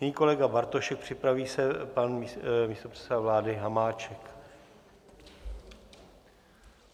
Nyní kolega Bartošek, připraví se pan místopředseda vlády Hamáček.